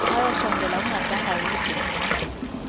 bayasondela kugandana yimigudu